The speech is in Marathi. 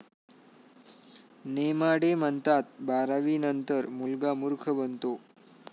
नेमाडे म्हणतात, '...बारावीनंतर मुलगा मुर्ख बनतो'